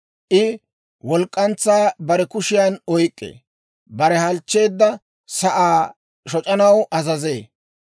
I walk'k'antsaa bare kushiyan oyk'k'ee; bare halchcheedda sa'aa shoc'anaw azazee.